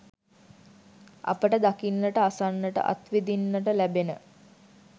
අපට දකින්නට, අසන්නට, අත්විඳින්නට ලැබෙන